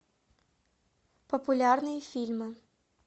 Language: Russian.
популярные фильмы